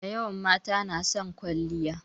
Dayawan mata na son kwalliya.